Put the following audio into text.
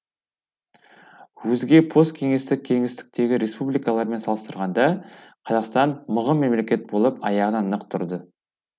өзге посткеңестік кеңістіктегі республикалармен салыстырғанда қазақстан мығым мемлекет болып аяғынан нық тұрды